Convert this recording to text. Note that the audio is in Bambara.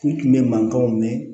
N tun bɛ mankanw mɛn